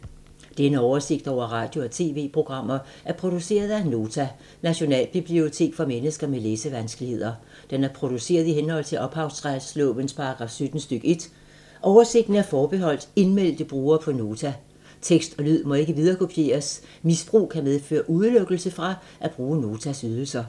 Denne oversigt over radio og TV-programmer er produceret af Nota, Nationalbibliotek for mennesker med læsevanskeligheder. Den er produceret i henhold til ophavsretslovens paragraf 17 stk. 1. Oversigten er forbeholdt indmeldte brugere på Nota. Tekst og lyd må ikke viderekopieres. Misbrug kan medføre udelukkelse fra at bruge Notas ydelser.